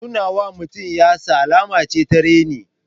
Nuna wa mutum yatsa alama ce ta reni.